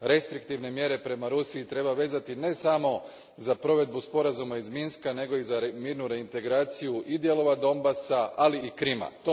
Restriktivne mjere prema Rusiji treba vezati ne samo za provedbu sporazuma iz Minska nego i za mirnu reintegraciju i dijelova Donbasa, ali i Krima.